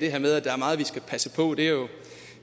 det her med at der er meget vi skal passe på det er jo